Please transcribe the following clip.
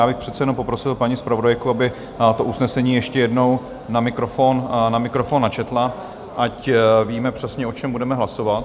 Já bych přece jenom poprosil paní zpravodajku, aby to usnesení ještě jednou na mikrofon načetla, ať víme přesně, o čem budeme hlasovat.